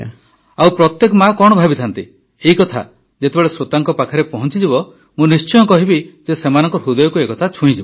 ଆଉ ପ୍ରତ୍ୟେକ ମାଆ କଣ ଭାବିଥାନ୍ତି ଏକଥା ଯେତେବେଳେ ଶ୍ରୋତାଙ୍କ ପାଖରେ ପହଞ୍ଚିବ ମୁଁ ନିଶ୍ଚିତ କହିବି ଯେ ସେମାନଙ୍କ ହୃଦୟକୁ ଏକଥା ଛୁଇଁଯିବ